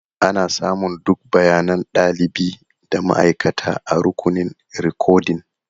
Ana samun duk bayanan ɗalibi da ma'aikata a rukunin rikodin.